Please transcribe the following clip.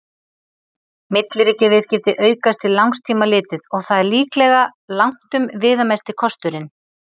Milliríkjaviðskipti aukast til langs tíma litið, og það er líklega langtum viðamesti kosturinn.